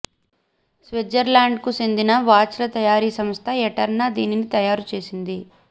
స్విట్జర్లాండ్కు చెందిన వాచ్ల తయారీ సంస్థ ఎటెర్నా దీనిని తయారు చేసింది